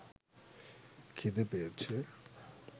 খিদে পেয়েছে